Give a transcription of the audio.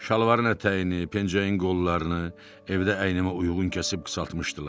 Şalvarın ətəyini, pencəyin qollarını evdə əynimə uyğun kəsib qısaltmışdılar.